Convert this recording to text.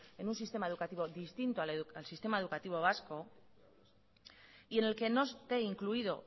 en un sistema educativo distinto al sistema educativo vasco y en el que no esté incluido